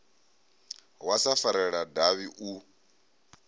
wa sa farelela davhi u